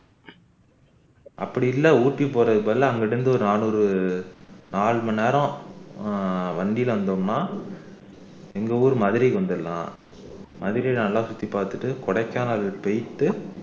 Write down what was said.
அப்படி இல்ல ஊட்டி போறதுக்கு பதிலா அங்க இருந்து ஒரு நானூறு நாலு மணி நேரம் ஆஹ் வண்டில வந்தோம்னா எங்க ஊரு மதுரைக்கு வந்துரலாம் மதுரைய நல்லா சுத்தி பாத்துட்டு கொடைக்கானல் போயிட்டு